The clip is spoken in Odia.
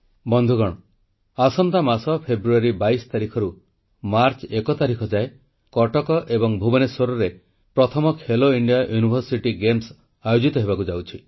ବନ୍ଧୁଗଣ ଆସନ୍ତା ମାସ ଫେବୃଆରୀ 22 ତାରିଖରୁ ମାର୍ଚ୍ଚ 1 ତାରିଖ ଯାଏ କଟକ ଏବଂ ଭୁବନେଶ୍ୱରରେ ପ୍ରଥମ ଖେଲୋ ଇଣ୍ଡିଆ ୟୁନିଭର୍ସିଟି ଗେମ୍ସ ଆୟୋଜିତ ହେବାକୁ ଯାଉଛି